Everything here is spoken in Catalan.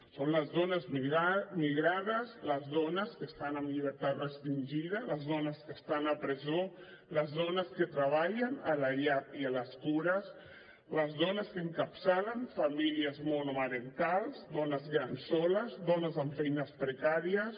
són les dones migrades les dones que estan en llibertat restringida les dones que estan a presó les dones que treballen a la llar i en les cures les dones que encapçalen famílies monomarentals dones grans soles dones amb feines precàries